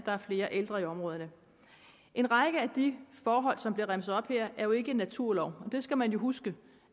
og flere ældre i områderne en række af de forhold som blev remset op her er jo ikke en naturlov og det skal man huske